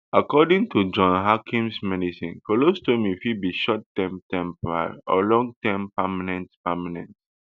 according to john hopkins medecine colostomy fit be shortterm temporary or longterm permanent permanent